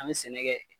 An bɛ sɛnɛ kɛ